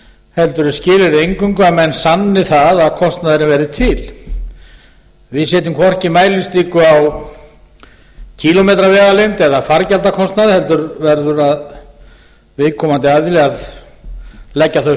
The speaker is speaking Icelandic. heldur er skilyrðið eingöngu að menn sanni það að kostnaðurinn verði til við setjum hvorki mælistiku á kílómetravegalengd eða fargjaldakostnað heldur verður viðkomandi aðili að leggja þau